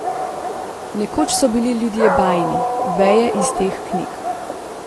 Nekoč so bili ljudje bajni, veje iz teh knjig.